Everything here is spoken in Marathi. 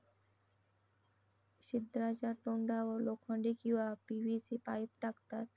छिद्राच्या तोंडावर लोखंडी किंवा पीव्हीसी पाईप टाकतात.